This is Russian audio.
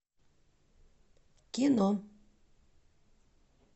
кино